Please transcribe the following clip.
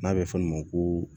N'a bɛ fɔ olu ma ko